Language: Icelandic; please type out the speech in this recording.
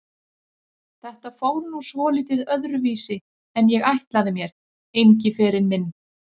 Þetta fór nú svolítið öðruvísi en ég ætlaði mér, Engiferinn minn.